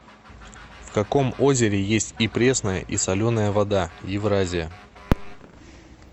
в каком озере есть и пресная и соленая вода евразия